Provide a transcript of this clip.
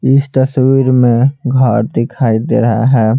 इस तस्वीर में घर दिखाई दे रहा है।